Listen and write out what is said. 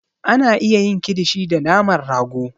A na iya yin kilishi da naman rago